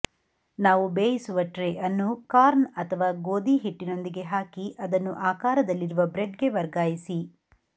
ನಾವು ಬೇಯಿಸುವ ಟ್ರೇ ಅನ್ನು ಕಾರ್ನ್ ಅಥವಾ ಗೋಧಿ ಹಿಟ್ಟಿನೊಂದಿಗೆ ಹಾಕಿ ಅದನ್ನು ಆಕಾರದಲ್ಲಿರುವ ಬ್ರೆಡ್ ಗೆ ವರ್ಗಾಯಿಸಿ